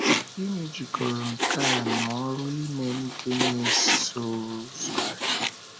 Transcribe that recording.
Gịnị jikọrọ nke a na ọrụ ime ndị na - eso ụzọ anyị?